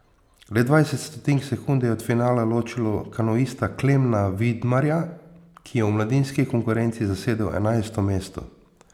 Le dvajset stotink sekunde je od finala ločilo kanuista Klemna Vidmarja, ki je v mladinski konkurenci zasedel enajsto mesto.